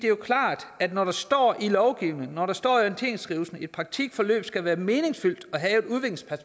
er klart at når der står i lovgivningen når der står i orienteringsskrivelsen at et praktikforløb skal være meningsfyldt og have